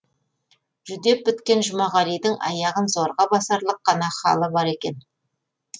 жүдеп біткен жұмағалидың аяғын зорға басарлық қана халі бар екен